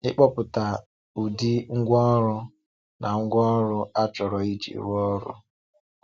Ị̀kpọ̀pụta ụdị ngwa ọrụ na ngwaọrụ a chọrọ iji rụọ ọrụ.